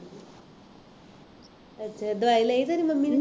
ਅੱਛਾ ਦਵਾਈ ਲਈ ਤੇਰੀ ਮੰਮੀ ਨੇ